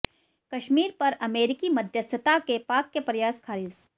कश्मीर पर अमेरिकी मध्यस्थता के पाक के प्रयास खारिज़